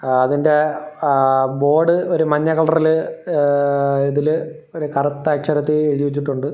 ആ അതിൻറെ ആ ബോർഡ് ഒരു മഞ്ഞ കളറില് എ ഇതില് ഒരു കറുത്ത അക്ഷരത്തി എഴുതിവെച്ചിട്ടുണ്ട്.